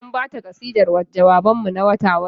Mun ba ta kasidar jawaban mu na wata-wata.